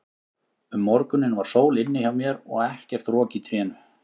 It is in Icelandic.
Um morguninn var sól inni hjá mér og ekkert rok í trénu.